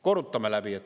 Korrutame läbi!